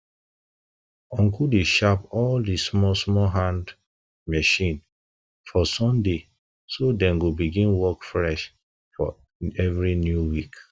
uncle dey sharp all di small small hand small small hand machine for sunday so dem go begin work fresh fresh for every new week